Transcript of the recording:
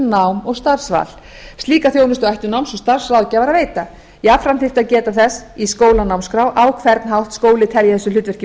nám og starfsval slíka þjónustu ættu náms og starfsráðgjafar að veita jafnframt þyrfti að geta þess í skólanámskrá á hvern hátt skóli telji þessu hlutverki